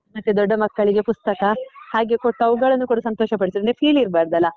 ಮತ್ತೆ ದೊಡ್ಡ ಮಕ್ಕಳಿಗೆ ಪುಸ್ತಕ, ಹಾಗೆ ಕೊಟ್ಟು ಅವುಗಳನ್ನೂ ಕೂಡ ಸಂತೋಷ ಪಡಿಸಿದ್ವಿ ಅಂದ್ರೆ feel ಇರ್ಬಾರ್ದಲ್ಲ.